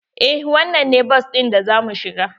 Eh wannan ne bas ɗin da za mu shiga